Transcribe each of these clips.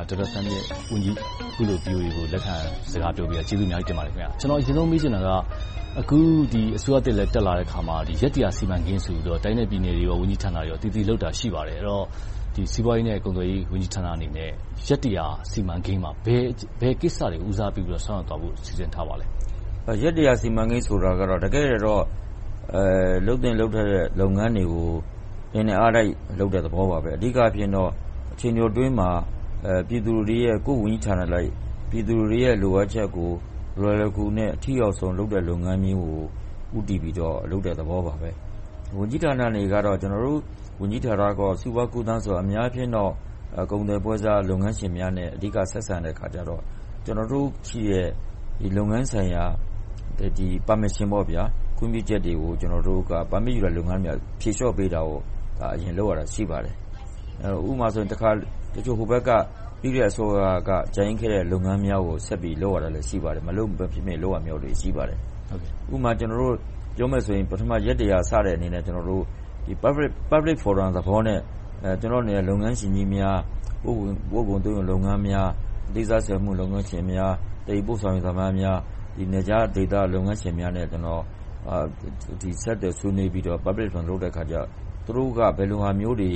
ဒေါက်တာသန်းမြင့် အခုလို VOA ကို လက်ခံစကားပြောပေးတာ ကျေးဇူးအများကြီးတင်ပါတယ်။ ကျနော် အရင်ဆုံး မေးချင်တာက အခု အစိုးရသစ်လည်း တက်လာတဲ့အခါမှာ ရက် စီမံကိန်းဆိုပြီး တိုင်းနဲ့ပြည်နယ်နဲ့ ဝန်ကြီးဌာနတွေမှာ လုပ်တာရှိပါတယ်။ အဲဒီတော့ စီးပွားရေး နဲ့ ကူးသန်းရောင်းဝယ်ရေး ဝန်ကြီးဌာနအနေနဲ့ ရက် စီမံကိန်းမှာ ဘယ်ကိစ္စတွေကို ဦးစားပေးဆောင်ရွက်သွားဖို့ စီစဉ်ထားပါလဲ။ ရက် စီမံကိန်းဆိုတာကတော့ တကယ့်တကယ်တော့ လုပ်သင့်လုပ်ထိုက်တဲ့ လုပ်ငန်းတွေကို အင်တိုက်အားတိုက် လုပ်တဲ့သဘောပါပဲ။ အဓိကအားဖြင့်တော့ အချိန်တိုအတွင်းမှာ ကိုယ့်ဝန်ကြီးဌာနအလိုက် ပြည်သူတွေရဲ့ လိုအပ်ချက်ကို လွယ်လွယ်ကူကူနဲ့ အထိရောက်ဆုံး လုပ်ငန်းမျိုးကို ဦးတည်ပြီးတော့ လုပ်တဲ့သဘောမျိုးပါပဲ။ ဝန်ကြီးဌာနအနေနဲ့ ကျနော်တို့ ဝန်ကြီးဌာန စီးပွားကူးသန်းက အများအားဖြင့်တော့ ကုန်သည်ပွဲစားလုပ်ငန်းရှင်များနဲ့ အဓိက ဆက်ဆံတဲ့အခါကြတော့ လုပ်ငန်းဆိုင်ရာ Permission ခွင့်ပြုချက်တွေကို ဖြေလျှော့ပေးတာကို အရင်လုပ်ရတာ ရှိပါတယ်။ ဥပမာဆိုရင် တချို့ ဟိုဘက်က ပြီးခဲ့တဲ့ အစိုးရက ကျန်ခဲ့တာတွေကို လုပ်ရတာလည်း ရှိပါတယ်။ မလုပ်မဖြစ် လုပ်ရတာမျိုးတွေ ရှိပါတယ်။ ဥပမာ ပြောမယ်ဆိုရင် ပထမ ရက် စတဲ့အနေနဲ့ Public Forum သဘောနဲ့ လုပ်ငန်းရှင်ကြီးများ၊ ပို့ကုန်သွင်းကုန် လုပ်ငန်းများ၊ အသေးစိတ်စက်မှုလုပ်ငန်းရှင်ကြီးများ၊ သယ်ယူပို့ဆောင်ရေးသမားများ၊ နယ်ခြားဒေသ လုပ်ငန်းရှင်များနဲ့ ကျနော် ဆက်သွယ်ဆွေးနွေးပြီးတော့ Public Forum လုပ်တဲ့အခါကြတော့ သူတို့က ဘယ်လိုဟာမျိုးတွေ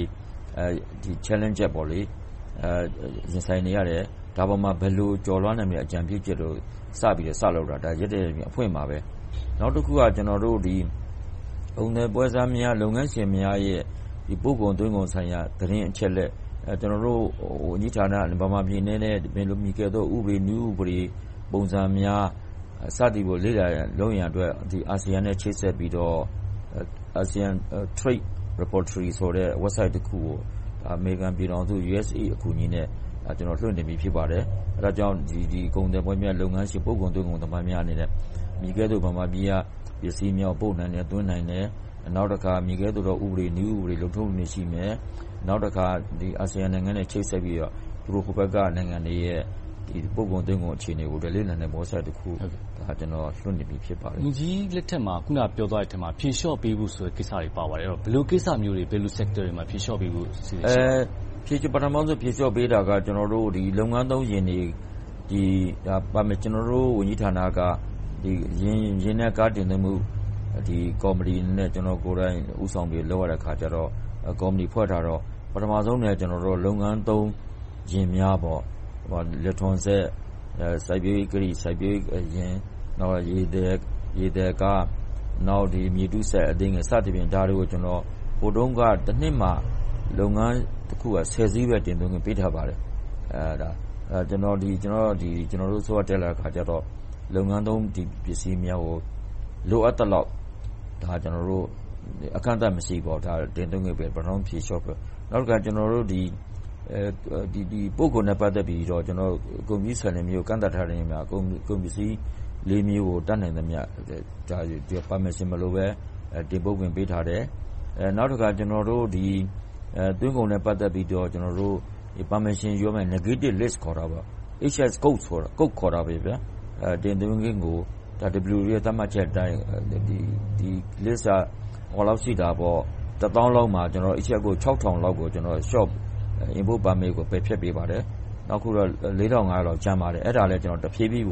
Challenges ရင်ဆိုင်နေကြတယ်။ ဒီအပေါ်မှာ ဘယ်လို ကျော်လွှာနိုင်မယ့် အကြံပြုချက်တို့ စပြီးစလုပ်တာ ရက် အဖွင့်မှာပဲ။ နောက်တခုက ကုန်သယ်ပွဲစားများ၊ လုပ်ငန်းရှင်များရဲ့ ပို့ကုန်သွင်းကုန်ဆိုင်ရာ သတင်းအချက်အလက် ကျနော်တို့ ဝန်ကြီးဌာန ဗမာပြည်အနေနဲ့ ဘယ်လိုမည်ကဲ့သို့သော ဥပဒေ နည်းဥပဒေ၊ ပုံစံများ စသည်တို့ကို လေ့လာလုပ်ရန်အတွက် ASEAN နဲ့ ချိတ်ဆက်ပြီးတော့ ASEAN Trade Repertory ဆိုတဲ့ website တစ်ခုကို အမေရိကန်ပြည်ထောင်စု USA အကူအညီနဲ့ လွှင့်တင်ပြီး ဖြစ်ပါတယ်။ အဲဒါကြောင့် ကုန်သွယ်ပွဲစားများ၊ လုပ်ငန်းရှင် ပို့ကုန်သွင်းကုန် သမိုင်းများအနေနဲ့ မည်ကဲ့သို့ ဗမာပြည်က ပစ္စည်းများ ပို့နိုင်တယ်၊ သွင်းနိုင်တယ်။ နောက်တခါ မည်ကဲ့သို့ ဥပဒေ၊ နည်းဥပဒေ လုပ်ထုံလုပ်နည်းတွေ ရှိမယ်။ နောက်တခါ ASEAN နိုင်ငံတွေနဲ့ ချိတ်ဆက်ပြီးတော့ ဟိုဘက်က နိုင်ငံတွေရဲ့ ပို့ကုန်သွင်းကုန် အခြေအနေတွေကို လေ့လာနိုင်တယ့် website တခု လွှင့်တင်ပြီး ဖြစ်ပါတယ်။ ဝန်ကြီးလက်ထက်မှာ အခုန ပြောသွားတဲ့အထဲမှာ ဖြေလျှော့ပေးဖို့ ကိစ္စတွေ ပါပါတယ်။ ဘယ်လို ကိစ္စတွေ၊ Sector တွေမှာ ဖြေလျှော့ပေးဖို့ပါလဲ။ ပထမဦးဆုံး ဖြေလျှော့ပေးတာက လုပ်ငန်းသုံးယာဉ်၊ ကျနော်တို့ ဝန်ကြီးဌာနက ယာဉ်နဲ့ ကားတင်သွင်းမှု ကော်မတီအနေနဲ့ ကျနော်ကိုယ်တိုင် ဦးဆောင်ပြီး လုပ်ရတဲ့အခါကြတော့ ကော်မတီဖွဲ့တာကတော့ ပထမဦးဆုံးအနေနဲ့ လုပ်ငန်းသုံးယာဉ်များ.. ဥပမာ လယ်ထွန်စက်၊ စိုက်ပျိုးရေးယာဉ်၊ ရေသယ်ကား၊ နောက် မြေတူးစက်အသေးငယ် စသဖြင့် ဟိုတုန်းက တနှစ်မှာ လုပ်ငန်းတခုက ဆယ်စီးပဲ တင်သွင်းခွင့် ပြုထားပါတယ်။ ကျနော်တို့ အစိုးရတက်လာတဲ့အခါကြတော့ လုပ်ငန်းသုံး ဒီပစ္စည်းများကို လိုအပ်သလောက် အကန့်အသတ်မရှိ တင်သွင်းခွင့်ပြုတာ ဖြေလျှော့ပေးတာဖြစ်တယ်။ နောက်တခါ ပို့ကုန်နဲ့ ပတ်သက်ပြီးတော့ ကုန်ပစ္စည်းဆိုင်ရာ ကန့်သတ်မှု - ကုန်ပစ္စည်း မျိုးကို တတ်နိုင်သမျှ Permission မလိုဘဲ တင်ပို့ခွင့် ပေးထားတယ်။ နောက်တခါ သွင်းကုန်နဲ့ ပတ်သက်ပြီးတော့ Permission ယူရမယ့် Negative List.. HS Codes ခေါ်တဲ့ တင်သွင်းခွင့်ကို WTO ရဲ့ သတ်မှတ်ချက်အတိုင်း ဒီ List က တစ်သောင်းလောက်မှာ HS ကို ခြောက်ထောင်လောက် Import permit ကို ပယ်ဖျက်ပေးပါတယ်။ အခုတော့ လေးထောင်ငါးရာလောက် ကျန်ပါတယ်။ အဲဒါလဲ တဖြည်းဖြည်း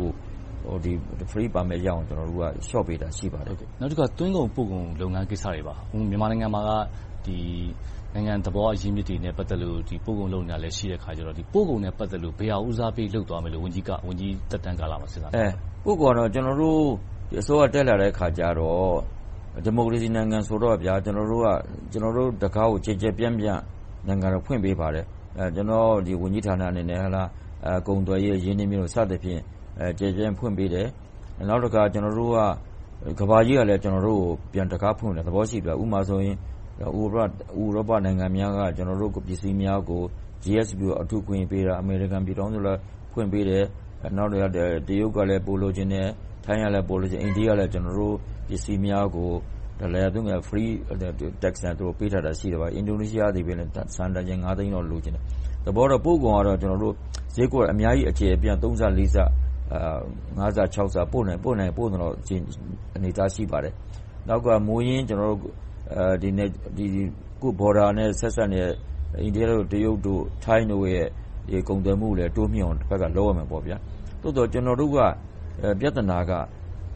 Free permit ရအောင် လျှော့ပေးတာ ရှိပါတယ်။ နောက်တခါ သွင်းကုန်ပို့ကုန် ကိစ္စတွေပါ။ အခု မြန်မာနိုင်ငံမှာက နိုင်ငံသဘာဝ အရင်းအမြစ်တွေနဲ့ ပတ်သက်လို့ ပို့ကုန်လုပ်နေတာလည်း ရှိနေတာမို့ ပို့ကုန်နဲ့ ပတ်သက်လို့ ဘယ်ဟာ ဦးစားပေး လုပ်သွားမယ်လို့ ဝန်ကြီးသက်တမ်းကာလမှာ စဉ်းစားထားပါလဲ။ ပို့ကုန်နဲ့ ပတ်သက်လို့ ကျနော်တို့ အစိုးရ တက်လာတဲ့အခါကြတော့ ဒီမိုကရေစီနိုင်ငံဆိုတော့ ကျနော်တို့က ကျနော်တို့ တံခါးကို ကျယ်ကျယ်ပြန့်ပြန့်တော့ ဖွင့်ပေးပါတယ်။ ကျနော့် ဝန်ကြီးဌာနအနေနဲ့ ကုန်သွယ်ရေး၊ ရင်းနှီးမြှုပ်နံှမှု စသဖြင့် ကျယ်ကျယ်ပြန့်ပြန့် ဖွင့်ပေးတယ်။ နောက်တခါ ကမ္ဘာကြီးကလည်း ကျနော်တို့ကို ပြန်တံခါးဖွင့်ပေးတဲ့ သဘောရှိတယ်။ ဥပမာဆိုရင် ဥရောပနိုင်ငံများက ကျနော်တို့ ကုန်ပစ္စည်းများကို GSW အထူးအခွင့်အရေးပေးတာ။ အမေရိကန်ပြည်ထောင်စုလည်း ဖွင့်ပေးတယ်။ တရုတ်ကလည်း ပိုလိုချင်တယ်။ ထိုင်းကလည်း ပိုလိုချင်။ အိန္ဒိယကလည်း ကျနော်တို့ပစ္စည်းများကို Free Tax နဲ့ ပေးထားတာရှိတယ်။ အင်ဒိုနီးရှားသည်ပင် ဆန်တန်ချိန် သိန်းလောက် လိုချင်တယ်။ သဘောကတော့ ပို့ကုန်ကတော့ ဈေးကွက်အများကြီး ဆ ဆ ဆ ဆ ကျယ်ပြန့်လာပြီး ပို့နိုင်ရင် ပို့နိုင်တဲ့ အခြေအနေအထား ရှိပါတယ်။ နောက်တခါ ကိုယ့် Border နဲ့ ဆက်စပ်နေတဲ့ အိန္ဒိယ၊ တရုတ်၊ ထိုင်းတို့ရဲ့ ကုန်သွယ်မှုကိုလည်း တိုးမြှင့်အောင် တဘက်ကလဲ လုပ်ရမယ်။ သို့သော် ကျနော်တို့က ပြဿနာက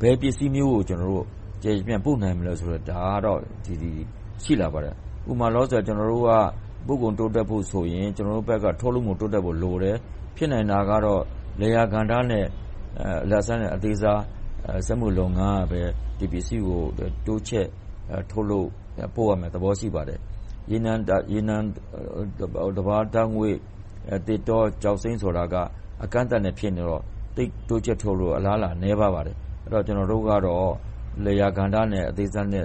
ဘယ်ပစ္စည်းမျိုးကို ကျယ်ကျယ်ပြန့်ပြန့် ပို့နိုင်မလဲဆိုတာကတော့ ရှိလာပါတယ်။ ဥပမာ လောလောဆယ် ပို့ကုန်တိုးတက်ဖို့ဆိုရင် ကျနော်တို့ဘက်က ထုတ်လုပ်မှု တိုးတက်ဖို့လိုတယ်။ ဖြစ်နိုင်တာကတော့ လယ်ယာကဏ္ဍနဲ့ အလတ်စား နဲ့ အသေးစား စက်မှုလုပ်ငန်းကပဲ ဒီပစ္စည်းကို တိုးချဲ့ထုတ်လုပ် ပို့ရမယ့်သဘော ရှိပါတယ်။ ရေနံ၊ သဘာဝဓါတ်ငွေ့၊ သစ်တော၊ ကျောက်စိမ်းဆိုတာက အကန့်အသတ်နဲ့ ဖြစ်နေတော့ တိုးချဲ့ထုတ်လုပ်ဖို့ အလားအလာ နည်းပါတယ်။ ကျနော်တို့ကတော့ လယ်ယာကဏ္ဍနဲ့ အသေးစား၊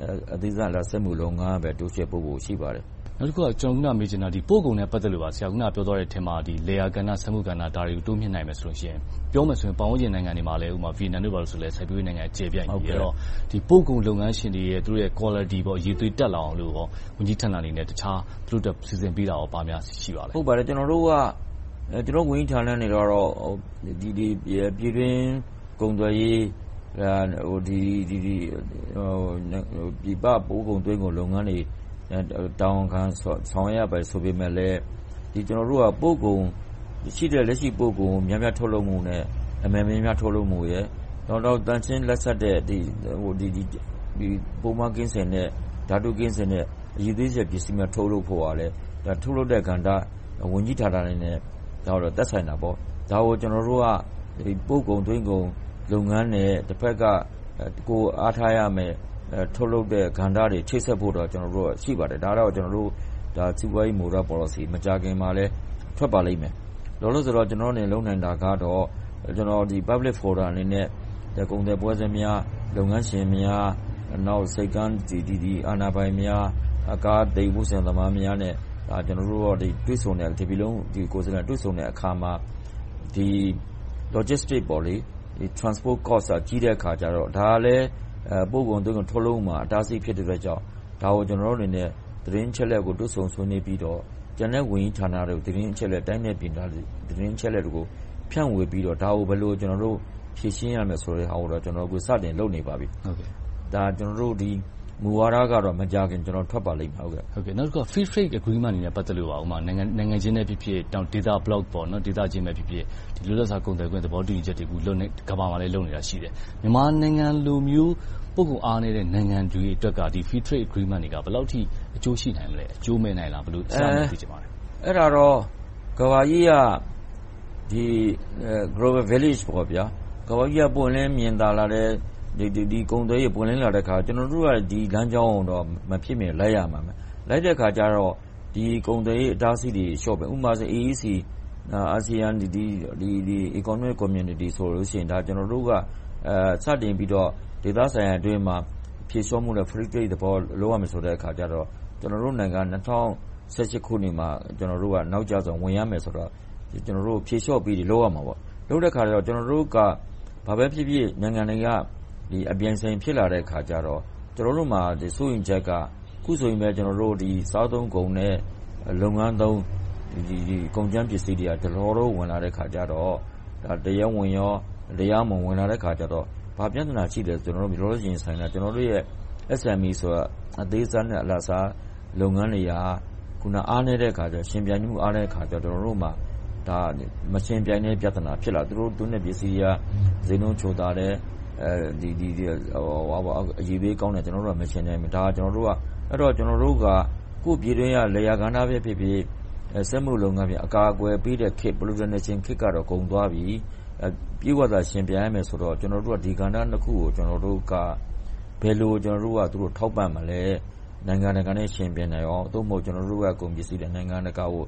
အလတ်စား စက်မှုလုပ်ငန်းတွေ တိုးချဲ့လုပ်ဖို့ ရှိပါတယ်။ နောက်တခု ကျနော် မေးချင်တာက ပို့ကုန်နဲ့ ပတ်သက်လို့ပါ။ ဆရာပြောသွားတဲ့အထဲမှာ လယ်ယာကဏ္ဍနဲ့ စက်မှုကဏ္ဍတို့ကို တိုးမြှင့်နိုင်မယ်ဆိုရင်.. ပြောမယ်ဆိုရင်လဲ ပတ်ဝန်းကျင်နိုင်ငံတွေမှာလည်း ဗီယက်နမ် ဆိုရင်လဲ စိုက်ပျိုးရေးက ကျယ်ပြန့်တယ်။ ပို့ကုန်လုပ်ငန်းရှင်တွေရဲ့ Quality အရည်အသွေး တက်လာအောင် ဝန်ကြီးဌာနအနေနဲ့ တခြားစီစဉ်ပေးတာ ဘာများရှိပါလဲ။ ဟုတ်ပါတယ်။ ကျနော်တို့ ဝန်ကြီးဌာနအနေနဲ့ ပြည်တွင်းကုန်သွယ်ရေး၊ ပြည်ပပို့ကုန်သွင်းကုန် လုပ်ငန်းတွေကို တာဝန်ခံဆောင်ရွက်ရတယ် ဆိုပေမယ့်လဲ ကျနော်တို့က လက်ရှိ ပို့ကုန်ကို များများထုတ်လုပ်မှုနဲ့ အမယ်များများ ထုတ်လုပ်ဖို့နဲ့ သန့်ရှင်းလတ်ဆက်၊ ပိုးမွှားကင်းစင်တဲ့၊ ဓါတုဆေးဝါး ကင်းစင်တဲ့ အရည်အသွေးမီပစ္စည်းတွေ ထုတ်လုပ်ဖို့ကလဲ ထုတ်လုပ်တဲ့ကဏ္ဍ ဝန်ကြီးဌာနတွေနဲ့ သက်ဆိုင်တာပေါ့။ ဒါကို ကျနော်တို့က ပို့ကုန်သွင်းကုန်လုပ်ငန်းနဲ့ တဘက်က ကိုယ်အားထားရမယ့် ထုတ်လုပ်မယ့်ကဏ္ဍတွေ ချိတ်ဆက်ဖို့တော့ ရှိပါတယ်။ ဒါကတော့ ကျနော်တို့ စီးပွားရေးမူဝါဒပေါ်လစီ မကြာခင်မှာပဲ ထွက်ပါလိမ့်မယ်။ လောလောဆယ်အနေနဲ့ ကျနော်တို့ လုပ်နိုင်တာကတော့ Public Forum အနေနဲ့ ကုန်သယ်ပွဲစားများ၊ လုပ်ငန်းရှင်များ၊ ဆိပ်ကမ်းအာဏာပိုင်များ၊ ကားသယ်ယူပို့ဆောင်ရေး လုပ်ငန်းရှင်များနဲ့ တပြည်လုံးကိုယ်စားလှယ်များနဲ့ တွေ့ဆုံတဲ့အခါမှာ Logistic Transport Cost ကို ကြည့်တဲ့အခါကြတော့ ဒါကလဲ ပို့ကုန်ထုတ်လုပ်မှုမှာ အတားအဆီးဖြစ်နေတဲ့အတွက်ကြောင့် ဒါကို ကျနော်တို့ အနေနဲ့ သတင်းအချက်အလက်ကို တွေ့ဆုံဆွေးနွေးပြီးတော့ ကျန်တဲ့ဝန်ကြီးဌာနတွေကို ဖြန့်ဝေပြီးတော့ ဒါကို ဘယ်လို ဖြေရှင်းရမလဲဆိုတဲ့ဟာကို စတင်လုပ်ဆောင်နေပါပြီ။ မူဝါဒကတော့ မကြာခင် ထွက်ပါလိမ့်မယ်။ နောက်တခုက Free Trade Agreement တွေနဲ့ ပတ်သက်လို့ နိုင်ငံချင်းပဲဖြစ်ဖြစ်၊ ဒေသ block ချင်းဖြစ်ဖြစ် လွတ်လပ်စွာ ကုန်သွယ်ခွင့်၊ သဘောတူညီခွင့်တွေကို ကမ္ဘာမှာလဲ လုပ်နေတာရှိတယ်။ မြန်မာနိုင်ငံလိုမျိုး ပို့ကုန်အားနည်းတဲ့ နိုင်ငံတွေအတွက်က ဒီ Free Trade Agreement က ဘယ်လောက်အထိ အကျိုးရှိနိုင်မလဲ။ အကျိုးမဲ့နိုင်လား။ အဲဒါကို သိချင်ပါတယ်။ အဲဒါကတော့ ကမ္ဘာကြီးက Global Village ကမ္ဘာကြီးက ပွင့်လင်းမြင်သာလာတယ်။ ကုန်သွယ်မှုတွေ ပွင့်လင်းလာတော့ ကျနော်တို့က ဒီလမ်းကြောင်းကို မဖြစ်မနေ လိုက်ရမှာ။ လိုက်တဲ့အခါကြတော့ ကုန်သွယ်ရေး အတားအဆီးတွေ လျှော့မယ်။ ဥပမာ AEC – ASEAN Economic Community ဆိုရင် ကျနော်တို့က စတင်ပြီးတော့ ဒေသဆိုင်ရာအတွင်းမှာ ဖြေလျှော့မှုနဲ့ Free Trade Agreement လုပ်ရမယ်ဆိုတော့ ကျနော်တို့နိုင်ငံက ၂၀၁၈ ခုနှစ်မှာ ဝင်ရမယ့်ဆိုတော့ ဖြေလျှော့ပေးတာတွေ လုပ်ရမှာပေါ့။ လုပ်တဲ့အခါ ကျနော်တို့က ဘာပဲဖြစ်ဖြစ် နိုင်ငံတွေက အပြိုင်အဆိုင်ဖြစ်လာတဲ့အခါကြတော့ ကျနော်တို့မှာ စိုးရိမ်ချက်က အခုဆိုရင် စားသုံးကုန်နဲ့ လုပ်ငန်းသုံး ကုန်ကြမ်းပစ္စည်းတွေက ဒလဟော ဝင်လာတဲ့အခါကြတော့ တရားဝင်၊ တရားမဝင် ဝင်လာတော့ ဘာပြဿနာ၊ ကျနော်တို့ ရင်ဆိုင်နေရတာက SME အသေးစား နဲ့ အလတ်စား လုပ်ငန်းတွေက အားနည်းတဲ့အခါကြတော့ ယှဉ်ပြိုင်မှု အားနည်းတဲ့အခါကြတော့ ကျနော်တို့မှာ မယှဉ်ပြိုင်နိုင်တဲ့ ပြဿနာ ဖြစ်လာတယ်။ သူတို့သွင်းတဲ့ပစ္စည်းက ဈေးနှုန်းချိုသာတယ်။ အရည်အသွေးကောင်းတယ်။ ကျနော်တို့ မယှဉ်နိုင်ဘူး။ ကျနော်တို့က ကိုယ့်ပြည်တွင်းက လယ်ယာကဏ္ဍဖြစ်ဖြစ်၊ စက်မှုလုပ်ငန်းဖြစ်ဖြစ် အကာအကွယ်ပေးတဲ့ခေတ်ကတော့ ကုန်သွားပြီ။ ပြည့်ဝစွာ ယှဉ်ပြိုင်ရမယ်ဆိုတော့ ကျနော်တို့က ဒီကဏ္ဍနှစ်ခုကို ဘယ်လို ထောက်ပံ့မလဲ။ နိုင်ငံတကာနဲ့ ယှဉ်ပြိုင်နိုင်အောင်။ သို့မဟုတ် နိုင်ငံတကာကို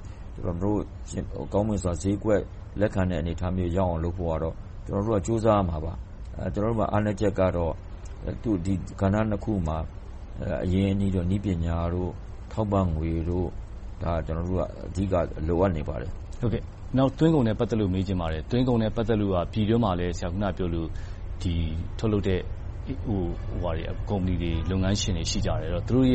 ကောင်းမွန်စွာ ဈေးကွက်လက်ခံနိုင်အောင် လုပ်ဖို့ကတော့ ကြိုးစားရမှာပါ။ ကျနော်တို့ အားနည်းချက်ကတော့ ဒီကဏ္ဍနှစ်ခုမှာ အရင်းအနှီး၊ နည်းပညာ၊ ထောက်ပံ့ငွေတို့ အဓိက လိုအပ်နေပါတယ်။ သွင်းကုန်နဲ့ ပတ်သက်လို့ မေးချင်ပါတယ်။ သွင်းကုန်နဲ့ ပတ်သက်လို့ အခုန ဆရာပြောသလို ပြည်တွင်းမှာ ထုတ်လုပ်တဲ့ ကုမ္ပဏီတွေ၊ လုပ်ငန်းရှင်တွေ ရှိကြတယ်။ သူတို့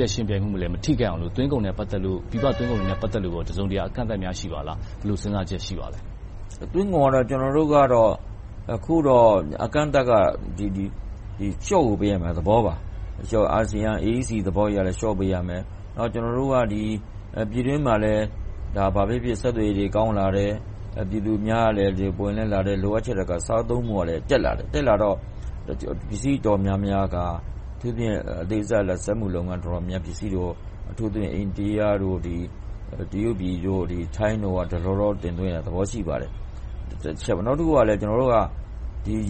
ရဲ့ ယှဉ်ပြိုင်မှုကိုလည်း မထိခိုက်အောင်လို့ ပြည်ပသွင်းကုန်တွေနဲ့ ပတ်သက်လို့ တစုံတရာ အကန့်အသတ်များ ရှိပါလား။ ဘယ်လို စဉ်းစားချက် ရှိပါလဲ။ သွင်းကုန်ကတော့ အကန့်အသတ်ကတော့ လျှော့ကို ပေးရမယ့်သဘောပါ။ ASEAN AEC သဘောအရလည်း လျှော့ပေးရမယ်။ နောက် ကျနော်တို့က ပြည်တွင်းမှာလည်း ဘာပဲဖြစ်ဖြစ် ဆက်သွယ်ရေးတွေ ကောင်းလာတယ်။ ပြည်သူအများကလည်း ပွင့်လင်းလာတယ်။ လိုအပ်ချက်၊ စားသုံးမှုကလည်း တက်လာတော့ ပစ္စည်းအတော်များများက အထူးသဖြင့် အသေးစား စက်မှုလုပ်ငန်းပစ္စည်းတွေက အိန္ဒိယ၊ တရုတ်၊ ထိုင်းတို့က တော်တော်တင်သွင်းတဲ့သဘော ရှိပါတယ်။ နောက်တခုက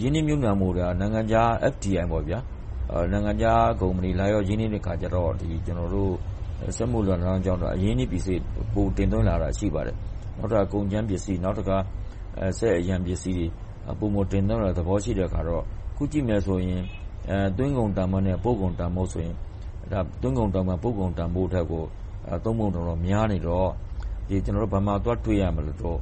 ရင်းနှီးမြုပ်နံှမှု နိုင်ငံခြား FDI - နိုင်ငံခြားကုမ္ပဏီ လာရောက်ရင်းနှီးတဲ့အခါကြတော့ အရင်းအနှီးပစ္စည်း ပိုတင်သွင်းလာတာ ရှိပါတယ်။ ကုန်ကြမ်းပစ္စည်း။ နောက်တခါ စက်အရန်ပစ္စည်း ပိုမိုတင်သွင်းလာတဲ့ သဘောရှိတော့ အခုကြည့်မယ်ဆိုရင် သွင်းကုန်တန်းဖိုးနဲ့ ပို့ကုန်တန်းဖို့ဆို သွင်းကုန်တန်းဖိုးက ပို့ကုန်တန်းဖိုးထက် သုံးပုံတစ်ပုံလောက် များနေတော့ ဘယ်မှာသွားတွေ့မလဲဆိုတော့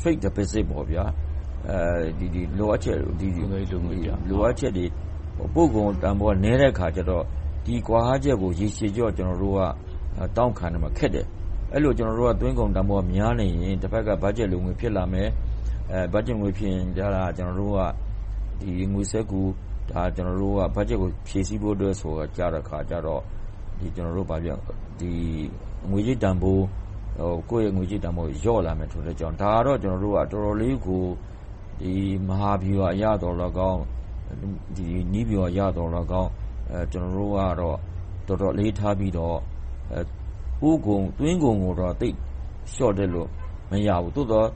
Trade Deficit လိုအပ်ချက် ပို့ကုန်တန်းဖိုးက နည်းတဲ့အခါကြတော့ ဒီကွာဟချက်ကို ရေရှည်တောင့်ခံဖို့ခက်တယ်။ အဲဒီလို သွင်းကုန်တန်းဖိုးက များနေရင် တဘက်က ဘတ်ဂျက် လိုငွေဖြစ်လာမယ်။ ဘတ်ဂျက်လိုငွေ ဖြစ်နေရင် ငွေစက္ကူ ဘတ်ဂျက်ကို ဖြည့်ဆည်းဖို့အတွက် ကိုယ့်ငွေကြေးတန်းဖိုး လျော့လာမယ်။ ဒါကို ကျနော်တို့က တော်တော်လေးကို မဟာဗျူဟာအရသော်လည်းကောင်း၊ နည်းဗျူဟာအရသော်လည်းကောင်း၊ အလေးထားပြီးတော့ သွင်းကုန်ကိုတော့ လျှော့တွက်လို့ မရဘူး။ သို့သော်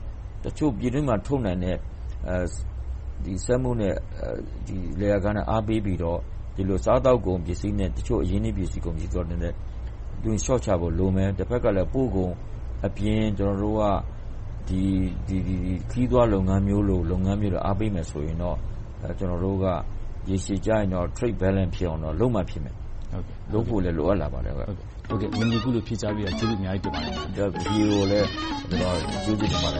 တချို့ပြည်တွင်းမှာ ထုတ်နိုင်တဲ့ စက်မှုနဲ့ လယ်ယာကဏ္ဍကို အားပေးပြီးတော့ စားသောက်ကုန်ပစ္စည်းနဲ့ တခြားအရင်းအနှစ်ပစ္စည်းတချို့ကို လျှော့ချဖို့လိုမယ်။ တဘက်မှာ ပို့ကုန်အပြင် ခရီးသွားလုပ်ငန်းမျိုးတို့ကို အားပေးမယ်ဆိုရင်တော့ ရေရှည်ကြရင် Trade balance ဖြစ်အောင် လုပ်မှဖြစ်မယ်။ လုပ်ဖို့လည်း လိုအပ်တယ်။ အခုလို ဖြေကြားပေးတာ ကျေးဇူးအများကြီးတင်ပါတယ်။ VOA ကိုလည်း ကျနော်က ကျေးဇူးတင်ပါတယ်